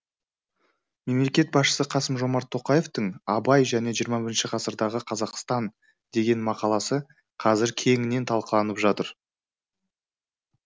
мемлекет басшысы қасым жомарт тоқаевтың абай және жиырма бірінші ғасырдағы қазақстан деген мақаласы қазір кеңінен талқыланып жатыр